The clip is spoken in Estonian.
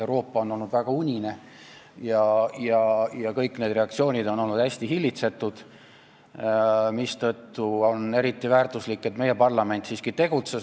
Euroopa on olnud väga unine ja kõik reaktsioonid on olnud hästi hillitsetud, mistõttu on eriti väärtuslik, et meie parlament siiski tegutseb.